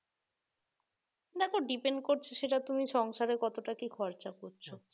না তো depend করছে সেটা তুমি সংসারে কতটা কি খরচা করছো